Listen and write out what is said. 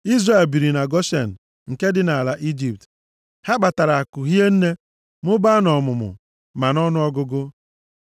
Izrel biri na Goshen nke dị nʼala Ijipt. Ha kpatara akụ hie nne, mụbaa nʼọmụmụ, ma nʼọnụọgụgụ.